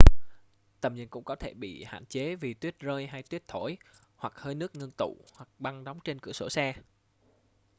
tầm nhìn cũng có thể bị hạn chế vì tuyết rơi hay tuyết thổi hoặc hơi nước ngưng tụ hoặc băng đóng trên cửa sổ xe